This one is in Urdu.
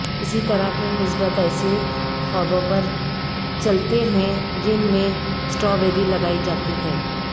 اسی طرح کے مثبت ایسے خوابوں پر چلتے ہیں جن میں سٹرابیری لگائی جاتی ہے